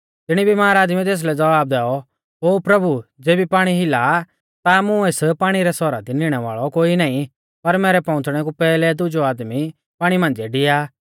तिणी बिमार आदमीऐ तेसलै ज़वाब दैऔ ओ प्रभु ज़ेबी पाणी हिला आ ता मुं एस पाणी रै सौरा दी निणै वाल़ौ कोई नाईं पर मैरै पहुंच़णै कु पैहलै दुजौ आदमी पाणी मांझ़िऐ डिया आ